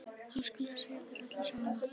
Þá skal ég segja þér alla söguna.